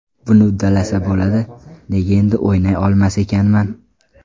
Buni uddalasa bo‘ladi, nega endi o‘ynay olmas ekanman?